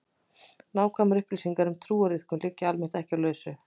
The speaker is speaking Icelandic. Nákvæmar upplýsingar um trúariðkun liggja almennt ekki á lausu.